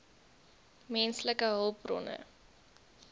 v menslike hulpbronne